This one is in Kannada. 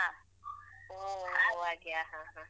ಹೋ ಹಾಗೆ ಹ ಹ ಹ ಹ.